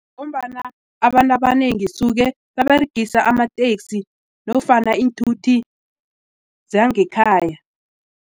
Ngombana abantu abanengi suke baberegisa amaktesi nofana iinthuthi zangekhaya.